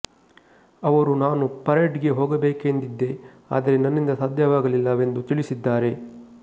ಅವರು ನಾನು ಪರೇಡ್ ಗೆ ಹೋಗಬೇಕೆಂದಿದ್ದೆ ಆದರೆ ನನ್ನಿಂದ ಸಾಧ್ಯವಾಗಲಿಲ್ಲ ವೆಂದು ತಿಳಿಸಿದ್ದಾರೆ